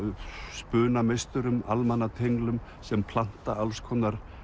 spunameisturum almannatenglum sem planta alls konar